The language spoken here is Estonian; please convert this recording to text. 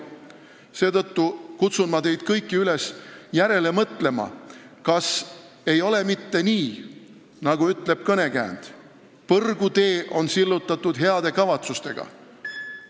Seetõttu kutsun ma teid kõiki üles järele mõtlema, kas ei ole mitte nii, nagu ütleb kõnekäänd: põrgutee on sillutatud heade kavatsustega.